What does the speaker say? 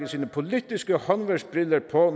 sine politiske håndværksbriller på